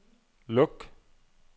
luk